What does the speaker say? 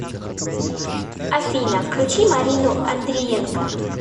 афина включи марину андриенко